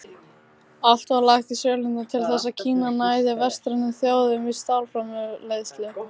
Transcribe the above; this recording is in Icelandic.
Allt var lagt í sölurnar til þess að Kína næði vestrænum þjóðum í stálframleiðslu.